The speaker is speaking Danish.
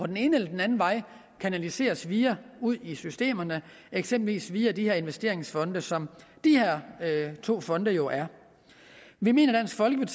den ene eller den anden vej kanaliseres videre ud i systemerne eksempelvis via de her investeringsfonde som de her to fonde jo er vi mener